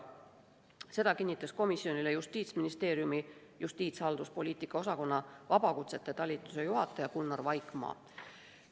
Seda kinnitas komisjonile Justiitsministeeriumi justiitshalduspoliitika osakonna vabakutsete talituse juhataja Gunnar Vaikmaa.